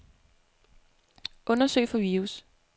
Undersøg for virus.